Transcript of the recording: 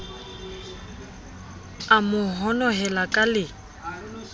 a mo honohela ka le